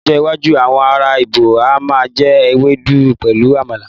ní ọjọ iwaju awọn ara ibo a ma je ewedu pẹlu àmàlà